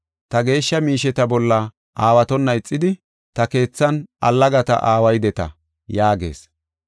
Ta geeshsha miisheta bolla aawatona ixidi, ta keethan allagata aawaydeta’ ” yaagees.